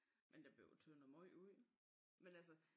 Men der blev jo tyndet meget ud med altså